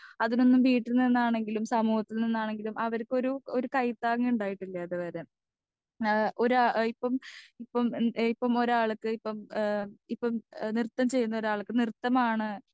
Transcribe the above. speaker 2 അതിനൊന്നും വീട്ടീന്നിനാണെങ്കിലും സമൂഹത്താന്നിനാണെങ്കിലും അവർക്കൊരു ഒരു കൈതാങ് ഇണ്ടായിട്ടില്ല ഇതുവരെ ഏഹ് ഒരാ ഇപ്പം ഇപ്പം എം ഇപ്പൊ ഒരാൾക്ക് ഇപ്പം ഏഹ് ഇപ്പം ഏഹ് നൃത്തം ചെയുന്ന ഒരാൾക്ക് നൃത്തമാണ്